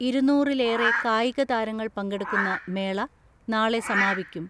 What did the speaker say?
ഇരുന്നൂറിലേറെ കായിക താരങ്ങൾ പങ്കെടുക്കുന്ന മേള നാളെ സമാപിക്കും.